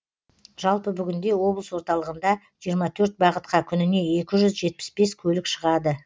жалпы бүгінде облыс орталығында жиырма төрт бағытқа күніне екі жүз жетпіс бес көлік шығады